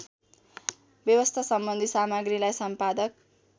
व्यवस्थासम्बन्धी सामग्रीलाई सम्पादक